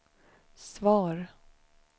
svar